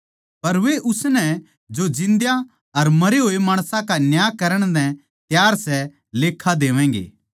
पर वे उसनै जो जिन्दयां अर मरे होए माणसां का न्याय करण नै त्यार सै लेक्खा देवैगें